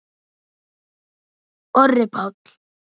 Orri Páll.